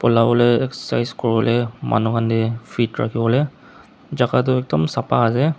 polawo lae excercise kuriwolae manu hanke fit ralhiwolae jaka toh ekdum sapa ase.